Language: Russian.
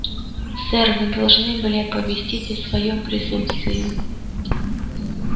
сэр вы должны были оповестить о своём присутствии